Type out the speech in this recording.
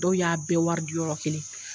Dɔw y'a bɛɛ wari yɔrɔ kelen.